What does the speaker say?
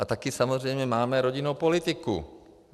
A taky samozřejmě máme rodinou politiku.